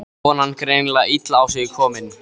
Konan greinilega illa á sig komin.